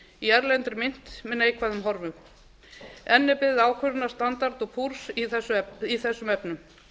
í erlendri mynt með neikvæðum horfum enn er beðið ákvörðunar standard og poors í þessum efnum